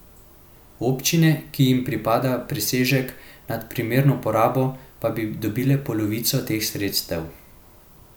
Občine, ki jim pripada presežek nad primerno porabo, pa bi dobile polovico teh sredstev.